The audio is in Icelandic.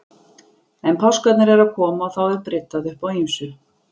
En páskarnir eru að koma og þá er bryddað upp á ýmsu.